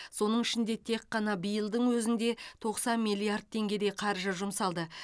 соның ішінде тек қана биылдың өзінде тоқсан миллиард теңгедей қаржы жұмсалды